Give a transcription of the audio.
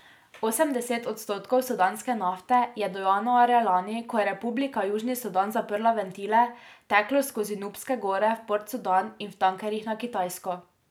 Osemdeset odstotkov sudanske nafte je do januarja lani, ko je Republika Južni Sudan zaprla ventile, teklo skozi Nubske gore v Port Sudan in v tankerjih na Kitajsko.